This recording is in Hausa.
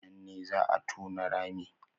A nan ne zaa a tona rami